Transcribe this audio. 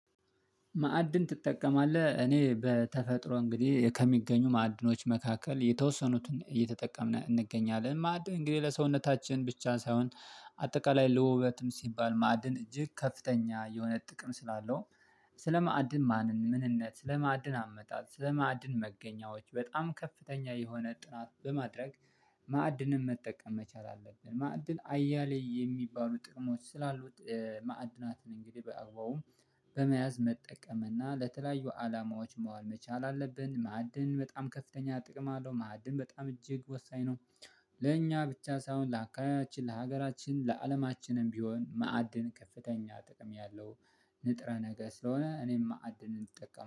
ማዕድን ትጠቀማለህ እኔ በተፈጥሮ እንግዲህ ከሚገኙ ማዕድኖች መካከል የተወሰኑትን እየተጠቀምን እንገኛለን ማዕድ እንግዲህ ለሰውነታችን ብቻ ሳይሆን አጠቃላይ ለውበትም ሲባል ማዕድን እጅግ ከፍተኛ የሆነ ጥቅም ስላለው ስለማዕድን ማንን ምንነት ስለማዕድን አመጣጥ ስለማዕድን መገኛዎች በጣም ከፍተኛ የሆነ ጥናት በማድረግ ማዕድንም መጠቀም መቻል አለብን ማዕድን አያሌ የሚባሉ ጥቅሞች ስላሉት ማዕድናትን እንግዲህ በአግባቡ በመያዝ መጠቀም እና ለተለያዩ አላማዎች መዋል መቻል አለብን ማዕድን በጣም ከፍተኛ ጥቅም አለው ማዕድን በጣም እጅግ ወሳኝ ነው። ለእኛ ብቻ ሳይሆን ለአካባቢያችን ለሀገራችን ለአለማችንም ቢሆን ማዕድን ከፍተኛ ጥቅም ያለው። ንጥረ ነገ ስለሆነ እኔም ማዕድን እንጠቀም